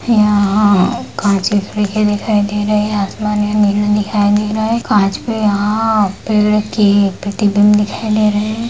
यहाँ काँच की खिड़की दिखाई दे रही है आसमान यहाँ नीला दिखाई दे रहा है काँच पे यहाँ पेड़ की प्रतिबिन दिखाई दे रही है।